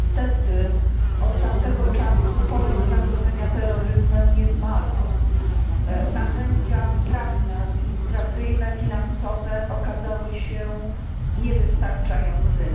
Niestety od tamtego czasu poziom zagrożenia terroryzmem nie zmalał. Narzędzia prawne, administracyjne, finansowe okazały się niewystarczającymi.